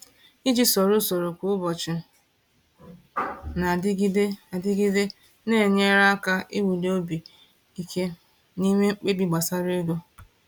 Iji soro usoro kwa ụbọchị na-adịgide adịgide na-enyere aka iwuli obi ike n’ime mkpebi gbasara ego.